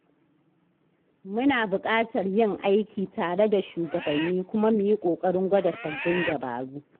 Muna buƙatar yin aiki tare da shugabanni kuma mu yi ƙoƙarin gwada sabbin dabaru.